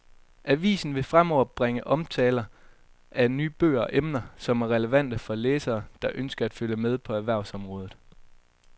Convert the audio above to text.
Avisen vil fremover bringe omtale af nye bøger om emner, som er relevante for læsere, der ønsker at følge med på erhvervsområdet.